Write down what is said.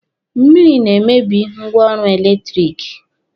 Mmịrị na-emebi ngwaọrụ eletiriki.